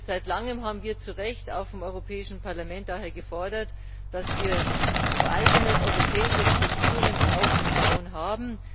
Seit langem haben wir auch vom Europäischen Parlament daher zu Recht gefordert, dass wir eigene europäische Strukturen aufzubauen haben.